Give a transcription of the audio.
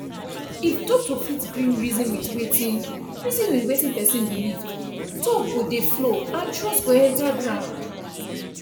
if doctor fit gree reason with wetin reason with wetin person believe talk go dey flow and trust go enter ground